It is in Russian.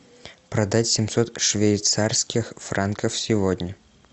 продать семьсот швейцарских франков сегодня